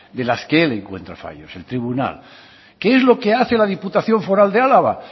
de las que él encuentra fallos el tribunal qué es lo que hace la diputación foral de álava